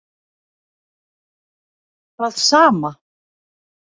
Það sama